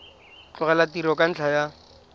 tlogela tiro ka ntlha ya